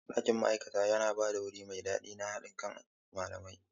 Ɗakin ma'aikata yana ba da wuri mai daɗi da haɗin kai ga malamai.